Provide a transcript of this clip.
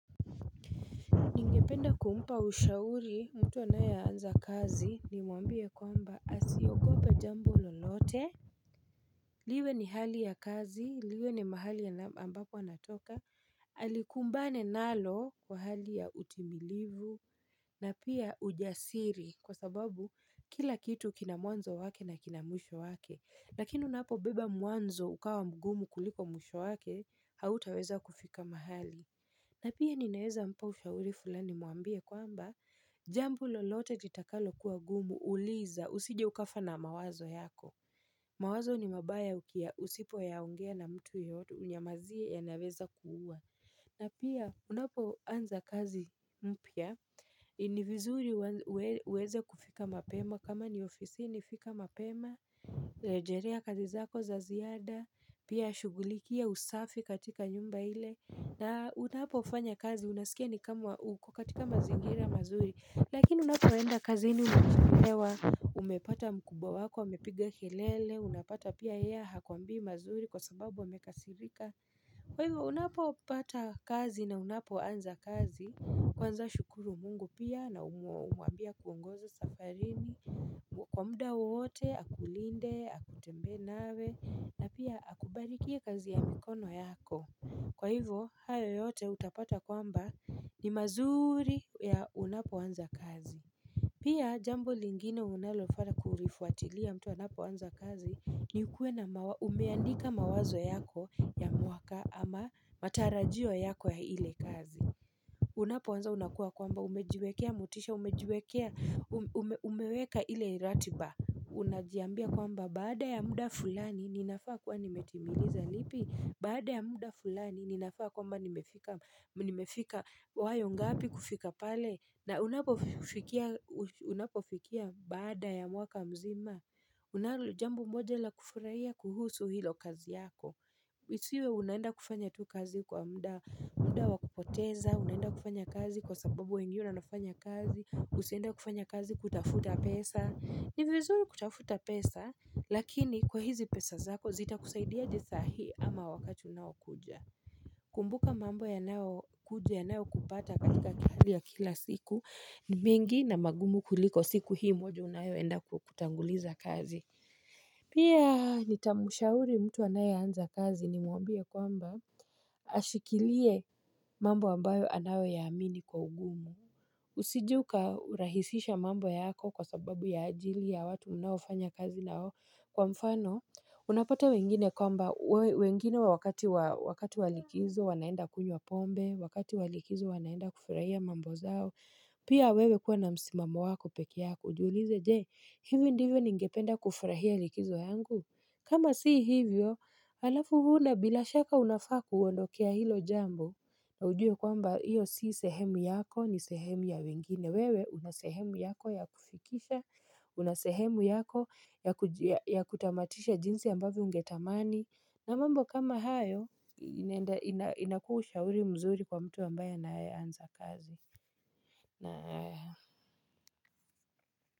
Ningependa kumpa ushauri, mtu anayeanza kazi nimuambie kwamba asiogope jambo lolote. Liwe ni hali ya kazi, liwe ni mahali ambapo anatoka. Alikumbane nalo kwa hali ya utimilivu na pia ujasiri kwa sababu kila kitu kina mwanzo wake na kina mwisho wake. Lakini unapobeba mwanzo ukawa mgumu kuliko mwisho wake, hautaweza kufika mahali. Na pia ninaeza mpa ushauri fulani mwambie kwamba Jambo lolote litakalo kuwa gumu uliza usije ukafa na mawazo yako mawazo ni mabaya usipo yaongea na mtu yoyote unyamazie yanaweza kuuwa na pia unapo anza kazi mpya ni vizuri uweze kufika mapema kama ni ofisini, fika mapema Lejerea kazi zako za ziada Pia shughulikia usafi katika nyumba ile na unapo fanya kazi unasikia ni kama uko katika mazingira mazuri. Lakini unapo enda kazini umechelewa umepata mkubwa wako, amepiga kelele, unapata pia yeye hakuambii mazuri kwa sababu amekasirika Kwa hivyo unapopata kazi na unapoanza kazi, Kwanza shukuru mungu pia na umuambie akuongoze safarini kwa muda wowote, akulinde, atembee nawe na pia akubarikie kazi ya mikono yako. Kwa hivyo, hayo yote utapata kwamba ni mazuri ya unapoanza kazi. Pia, jambo lingine unalo faa kulifuatilia mtu anapoanza kazi ni ukuwe na umeandika mawazo yako ya mwaka ama matarajio yako ya ile kazi. Unapoanza unakuwa kwamba umejiwekea motisha, umejiwekea, umeweka ile iratiba. Unajiambia kwamba baada ya muda fulani ninafaa kuwa nimetimiliza lipi? Baada ya muda fulani ninafaa kwamba nimefika nimefika wayo ngapi kufika pale na unapofikia unapofikia baada ya mwaka mzima Unalo jambo moja la kufurahia kuhusu hilo kazi yako isiwe unaenda kufanya tu kazi kwa muda muda wa kupoteza, unaenda kufanya kazi kwa sababu wengine wanafanya kazi. Usiende kufanya kazi kutafuta pesa. Ni vizuri kutafuta pesa, lakini kwa hizi pesa zako zitakusaidiaje sahii ama wakati unaokuja. Kumbuka mambo yanao kuja yanao kupata katika hali ya kila siku, ni mingi na magumu kuliko siku hii moja unaoyoenda kutanguliza kazi. Pia nitamshauri mtu anayeanza kazi nimwambie kwamba ashikilie mambo ambayo anayo yaamini kwa ugumu. Usije uka rahisisha mambo yako kwa sababu ya ajili ya watu unaofanya kazi nao kwa mfano Unapata wengine kwamba wengine wakati wa likizo wanaenda kunywa pombe Wakati wa likizo wanaenda kufurahia mambo zao Pia wewe kuwa na msimamo wako pekee yako. Ujulize je, hivi ndivyo ningependa kufurahia likizo yangu? Kama si hivyo, halafu huna bila shaka unafaa kuondokea hilo jambo na ujue kwamba hiyo si sehemu yako ni sehemu ya wengine. Wewe una sehemu yako ya kufikisha, una sehemu yako ya kutamatisha jinsi ambavyo ungetamani. Na mambo kama hayo inakuwa ushauri mzuri kwa mtu ambaye anayeanza kazi.